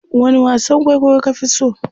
wani wasan kwaikwayo ka Fi so?